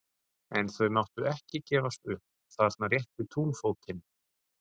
En þau máttu ekki gefast upp þarna rétt við túnfótinn.